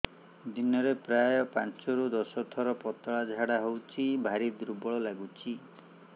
ଦିନରେ ପ୍ରାୟ ପାଞ୍ଚରୁ ଦଶ ଥର ପତଳା ଝାଡା ହଉଚି ଭାରି ଦୁର୍ବଳ ଲାଗୁଚି